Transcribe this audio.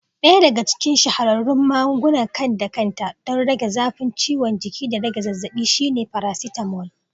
Ɗaya daga cikin shahararrun magungunan kan-da-kanta don rage zafin ciwon jiki da rage zazzabi shine paracetamol.